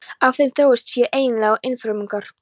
Af þeim þróuðust síðan eiginlegir einfrumungar.